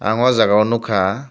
ang o jaga o nogkha.